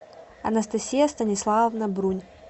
анастасия станиславовна брунь